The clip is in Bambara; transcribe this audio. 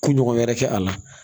Kun ɲɔgɔn wɛrɛ kɛ a la